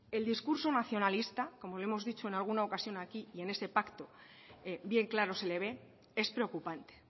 el discurso nacionalista como lo hemos dicho en alguna ocasión aquí y en ese pacto bien claro se le ve es preocupante